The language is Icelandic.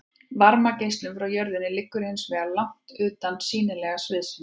varmageislunin frá jörðinni liggur hins vegar langt utan sýnilega sviðsins